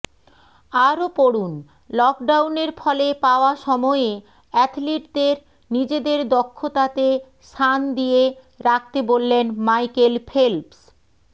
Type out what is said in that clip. আরও পড়ুনঃলকডাউনের ফলে পাওয়া সময়ে অ্যাথলিটদের নিজেদের দক্ষতাতে সান দিয়ে রাখতে বললেন মাইকেল ফেল্পস